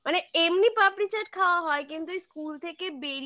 মানে এমনি পাপড়ি চাট খাওয়া হয় কিন্তু school থেকে